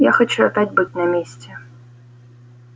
я хочу опять быть на месте